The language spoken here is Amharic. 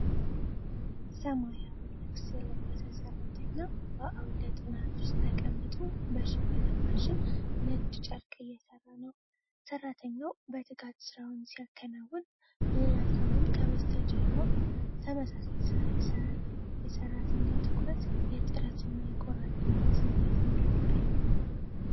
ሰማያዊ ልብስ የለበሰ ሠርተኛ በአውደ ጥናት ውስጥ ተቀምጦ በሽመና ማሽን ነጭ ጨርቅ እየሠራ ነው። ሠርተኛው በትጋት ሥራውን ሲያከናውን፣ ሌላ ሰውም ከበስተጀርባው ተመሳሳይ ሥራ ይሠራል። የሠርተኛው ትኩረት የጥረትና የቆራጥነት ስሜትን ይገልጻል።